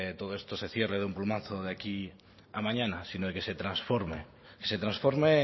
todo esto se cierre de un plumazo de aquí a mañana sino de que se transforme se transforme